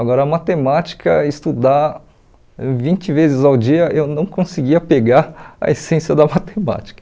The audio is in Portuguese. Agora, a matemática, estudar vinte vezes ao dia, eu não conseguia pegar a essência da matemática.